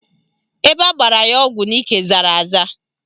Ebe agbara ya ọgwụ n'ike zara aza